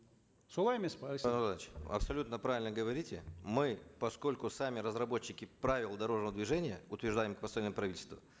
солай емес пе абсолютно правильно говорите мы поскольку сами разработчики правил дорожного движения утверждаемых постановлением правительства